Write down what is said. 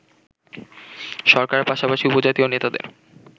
সরকারের পাশাপাশি উপজাতীয় নেতাদের